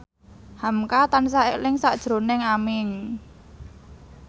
hamka tansah eling sakjroning Aming